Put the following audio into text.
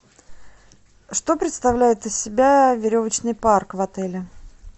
что представляет из себя веревочный парк в отеле